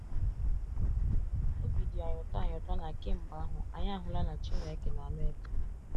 Obi dị anyị ụtọ anyị ụtọ na kemgbe ahụ anyị ahụla na Chineke na-anụ ekpere.